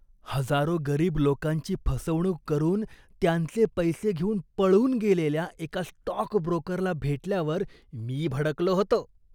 हजारो गरीब लोकांची फसवणूक करून त्यांचे पैसे घेऊन पळून गेलेल्या एका स्टॉक ब्रोकरला भेटल्यावर मी भडकलो होतो.